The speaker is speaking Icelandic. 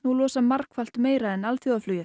losa margfalt meira en